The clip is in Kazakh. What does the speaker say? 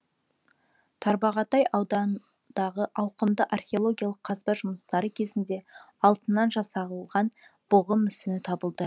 тарбағатай ауданындағы ауқымды археологиялық қазба жұмыстары кезінде алтыннан жасалған бұғы мүсіні табылды